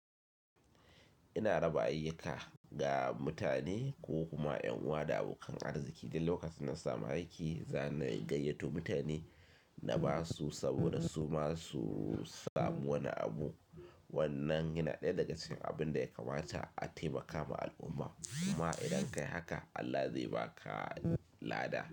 Ina raba ayyuka ga mutane ko kuma ƴan'uwa da abokan arziki. Da lokacin na samu aiki, za ni gayyato mutane na ba su saboda su ma su samu wani abu. Wannan yana ɗaya daga cikin abin da ya kamata a taimaka ma al'umma. Kuma idan ka yi haka Allah zai ba ka lada.